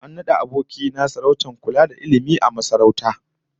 An nada aboki na sarautar kula da ilmi a masarauta